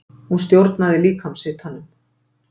Hún stjórnar líkamshitanum.